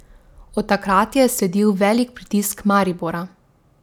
Od takrat je sledil velik pritisk Maribora.